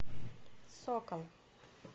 сокол